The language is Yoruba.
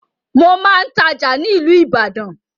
Mo máa ń tája ni ilu Ìbàdàn